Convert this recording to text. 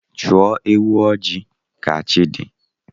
Chọọ ewu ojii ka chi dị